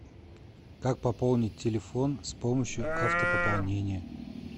как пополнить телефон с помощью автопополнения